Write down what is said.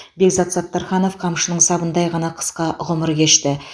бекзат саттарханов қамшының сабындай ғана қысқа ғұмыр кешті